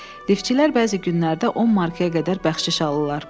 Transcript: Liftçilər bəzi günlərdə 10 markaya qədər bəxşiş alırlar.